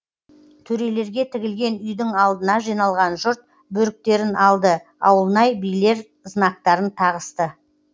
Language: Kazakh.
төрелерге тігілген үйдің алдына жиналған жұрт бөріктерін алды ауылнай билер знактарын тағысты